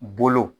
Bolo